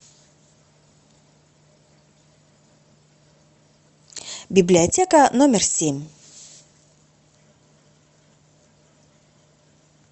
библиотека номер семь